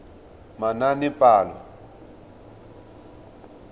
manaanepalo